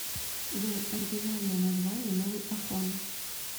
джой оригинальное название новый афон